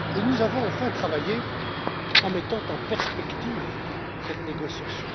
Nous avons, enfin, travaillé en mettant en perspective cette négociation.